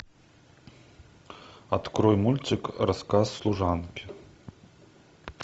открой мультик рассказ служанки